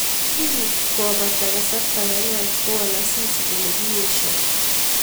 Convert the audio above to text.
Kingopata Kasarta ne nwach kowol Asisi kole kiesio